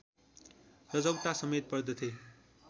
रजौटा समेत पर्दथे